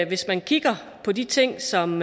hvis man kigger på de ting som